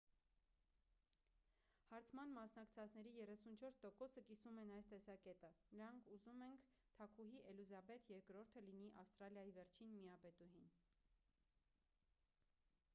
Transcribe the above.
հարցման մասնակցածների 34%-ը կիսում են այս տեսակետը. նրանք ուզում ենք՝ թագուհի էլիզաբեթ ii-ը լինի ավստրալիայի վերջին միապետուհին: